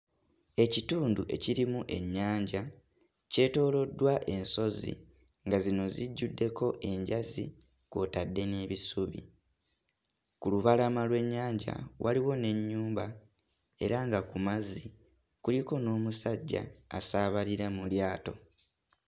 Ekitundu ekirimu ennyanja kyetooloddwa ensozi nga zino zijjuddeko enjazi kw'otadde n'ebisubi. Ku lubalama lw'ennyanja waliwo n'ennyumba era nga ku mazzi kuliko n'omusajja asaabalira mu lyato.